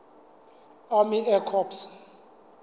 army air corps